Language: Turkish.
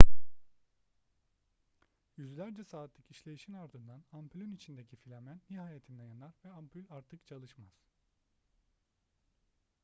yüzlerce saatlik işleyişin ardından ampülün içindeki filamen nihayetinde yanar ve ampül artık çalışmaz